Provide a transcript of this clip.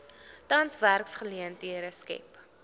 tans werksgeleenthede skep